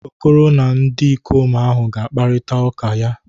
Okoro na ndikom ahu ga-akparita uka ya.